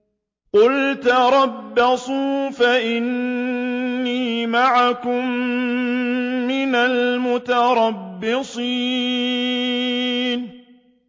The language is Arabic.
قُلْ تَرَبَّصُوا فَإِنِّي مَعَكُم مِّنَ الْمُتَرَبِّصِينَ